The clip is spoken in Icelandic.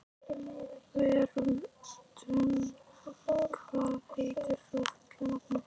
Vermundur, hvað heitir þú fullu nafni?